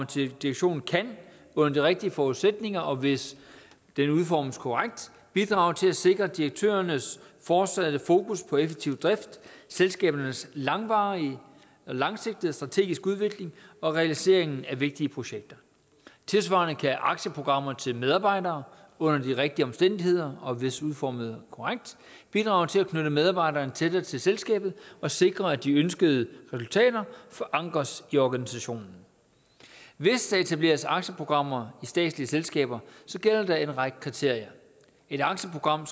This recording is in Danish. til direktionen kan under de rigtige forudsætninger og hvis den udformes korrekt bidrage til at sikre direktørernes fortsatte fokus på effektiv drift selskabernes langsigtede strategiske udvikling og realiseringen af vigtige projekter tilsvarende kan aktieprogrammer til medarbejdere under de rigtige omstændigheder og hvis udformet korrekt bidrage til at knytte medarbejderen tættere til selskabet og sikre at de ønskede resultater forankres i organisationen hvis der etableres aktieprogrammer i statslige selskaber gælder der en række kriterier et aktieprogram